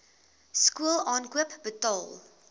skool aankoop betaal